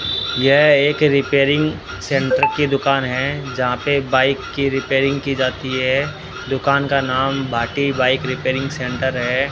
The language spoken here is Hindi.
यह एक रिपेयरिंग सेंटर की दुकान है जहां पे बाइक की रिपेयरिंग की जाती है दुकान का नाम भाटी बाइक रिपेयरिंग सेंटर है।